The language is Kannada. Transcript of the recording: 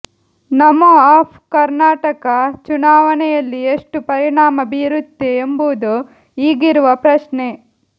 ನಮೋ ಆಪ್ ಕರ್ನಾಟಕ ಚುನಾವಣೆಯಲ್ಲಿ ಎಷ್ಟು ಪರಿಣಾಮ ಬೀರುತ್ತೆ ಎಂಬುದು ಈಗಿರುವ ಪ್ರಶ್ನೆ